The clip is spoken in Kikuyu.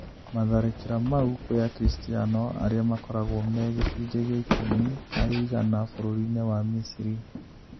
Matharĩkĩra mau kwĩ akiristiano, aria makoragwo me gĩcunjĩ gĩa ikũmi harĩ igana bũrũri-inĩ wa Misri,